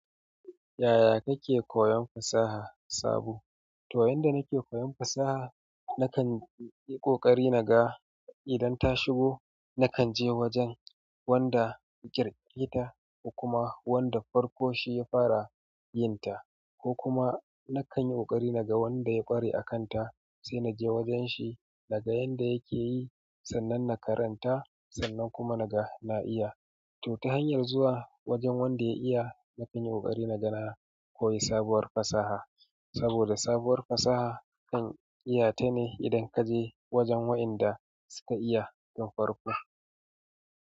Yaya kake koyon fasaha sabo? To yanda nake koyon fasaha, nakan yi ƙoƙari naga idan ta shigo, nakan je wajen wanda yaƙirkiyra ko kuma wanda farko shi ya fara yin ta ko kuma nakan yi ƙoƙari naga wanda ya ƙware a kan ta sai naje wajen shi naga yanda yake yi sannan na karanta sannan kuma naga na iya. To ta hanyar zuwa wajen wanda ya iya nakan yi ƙoƙari naga na koyi sabuwar fasaha saboda sabuwar fasaha zan iyata ne idan kaje wajen waƴanda suka iyata tun farko.